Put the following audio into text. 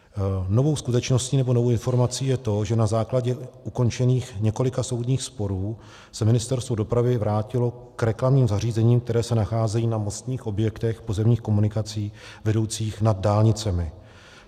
Novou skutečností nebo novou informací je to, že na základě ukončených několika soudních sporů se Ministerstvo dopravy vrátilo k reklamním zařízením, která se nacházejí na mostních objektech pozemních komunikací vedoucích nad dálnicemi.